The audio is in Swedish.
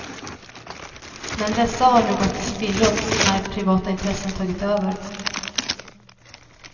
Men dessa har nu gått till spillo när privata intressen tagit över.